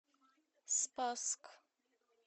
спасск